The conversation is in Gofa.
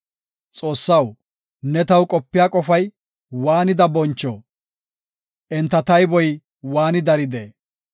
Xoossaw, ne taw qopiya qofay waanida boncho! Enta tayboy waanidi daride!